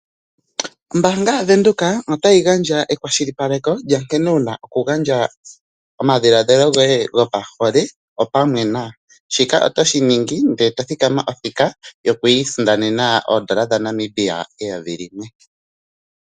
Ombaanga yaVenduka otayi gandja ekwashilipaleke lyankene wuna okugandja omadhiladhilo goye gopahole opamwe nayo. Shika otoshi ningi ndele eto thikama othika yoku isindanena oodola dhaNamibia eyovi limwe.